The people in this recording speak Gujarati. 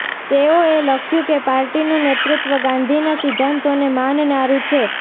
તેઓએ લખ્યું કે પાર્ટીનું નેતૃત્વ ગાંધીના સિદ્ધાંતોને માનનારું છે